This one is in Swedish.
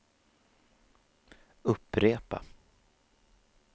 upprepa